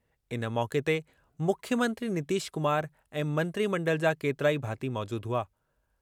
इन मौक़े ते मुख्यमंत्री नीतीश कुमार ऐं मंत्रिमंडल जा केतिरा ई भाती मौजूदु हुआ।